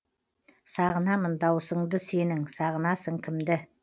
сағынамын дауысыңды сенің сағынасың кімді